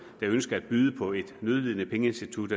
der ønsker at byde på et nødlidende pengeinstitut